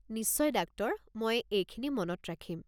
নিশ্চয়, ডাক্টৰ! মই এইখিনি মনত ৰাখিম।